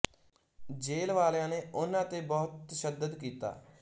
ਜੇਲ੍ਹ ਵਾਲਿਆਂ ਨੇ ਉਨ੍ਹਾਂ ਤੇ ਬਹੁਤ ਤਸ਼ੱਦਦ ਕੀਤਾ